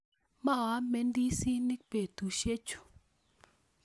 Maame ndisinik betusiechu